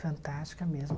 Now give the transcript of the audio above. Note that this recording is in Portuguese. Fantástica mesmo.